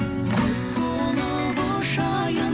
құс болып ұшайын